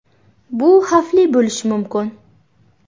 Bu xavfli bo‘lishi mumkin.